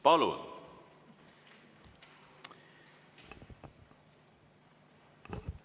Palun!